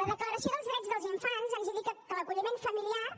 la declaració dels drets dels infants ens indica que l’acolliment familiar